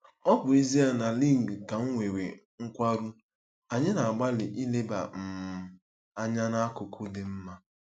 Ọ bụ ezie na Luigi ka nwere nkwarụ, anyị na-agbalị ileba um anya n'akụkụ dị mma.